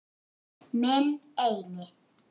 Minn eini.